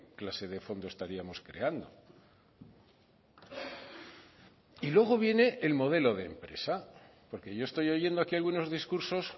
clase de fondo estaríamos creando y luego viene el modelo de empresa porque yo estoy oyendo aquí algunos discursos